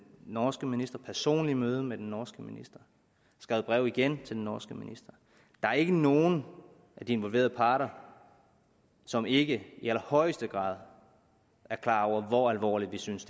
norske minister personligt møde med den norske minister der er igen til den norske minister der er ikke nogen af de involverede partere som ikke i allerhøjeste grad er klar over hvor alvorligt vi synes